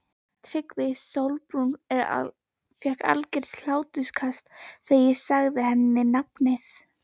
TRYGGVI: Sólrún fékk algert hláturskast þegar ég sagði henni nafnið.